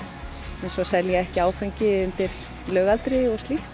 eins og að selja ekki áfengi undir lögaldri og slíkt